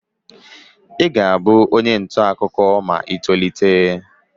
Ị ga-abụ onye ntaakụkọ ma ị tolite